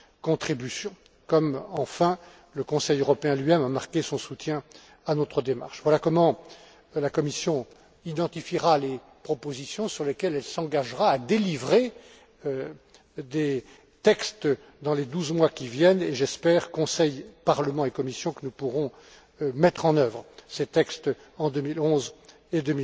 contributions, comme, enfin, le Conseil européen lui même a marqué son soutien à notre démarche. Voilà comment la Commission identifiera les propositions sur lesquelles elle s'engagera à délivrer des textes dans les douze mois qui viennent et, j'espère, Conseil, Parlement et Commission, que nous pourrons mettre en œuvre ces textes en 2011 et